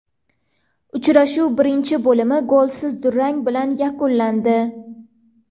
Uchrashuv birinchi bo‘limi golsiz durang bilan yakunlandi.